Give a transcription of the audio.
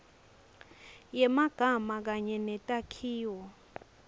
yemagama kanye netakhiwo